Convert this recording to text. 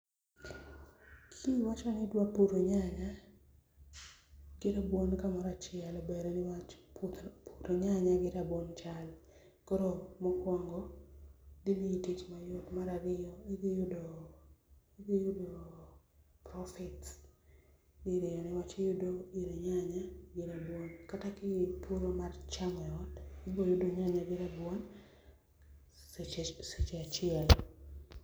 Kiwachoni idwa puro nyanya gi rabuon kamoro achiel ber niwach puro nyanya gi rabuon chal, koro mokuongo gimiyi tich mayot, mar ariyo idhi yudo, idhi yudo profits diriyo niwach iyud ir nyanya gi rabuon kata ka ipuro mar chamo e ot ibo yudo nyanya gi rabuon seche, seche achiel